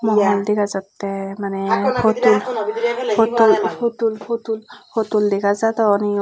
iyen dega jattey maneh putul putul putul putul putul dega jadon iyot.